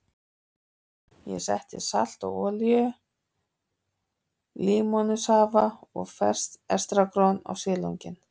Ég setti salt og olíu, límónusafa og ferskt estragon á silunginn.